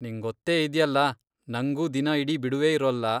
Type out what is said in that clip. ನಿಂಗೊತ್ತೇ ಇದ್ಯಲ್ಲ, ನಂಗೂ ದಿನ ಇಡೀ ಬಿಡುವೇ ಇರೋಲ್ಲ.